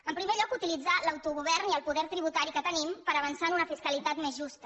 en primer lloc utilitzar l’autogovern i el poder tributari que tenim per avançar en una fiscalitat més justa